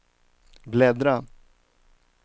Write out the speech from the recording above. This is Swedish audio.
bläddra